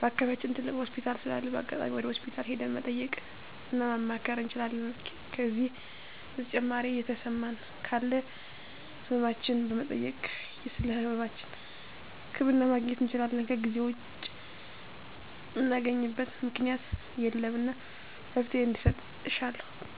በአከባቢያችን ትልቅ ሆስፒታል ስላለ በአጋጣሚ ወደ ሆስፒታል ሄደን መጠየቅ እና ማማከር እንችላለን ከዜ በተጨማሪ የተሰማን ካለ ህመማችን በመጠየክ ስለህመማችን ህክምና ማግኘት እንችላለን ከዜ ውጭ ምናገኝበት ምክኛት የለም እና መፍትሔ እንዲሰጥ እሻለሁ